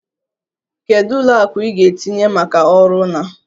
Kedu ụlọ akụ ị ga-etinye maka ọrụ na?